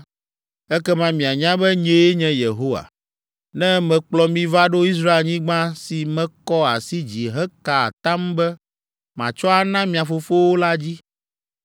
Ekema mianya be nyee nye Yehowa, ne mekplɔ mi va ɖo Israelnyigba si mekɔ asi dzi heka atam be matsɔ ana mia fofowo la dzi.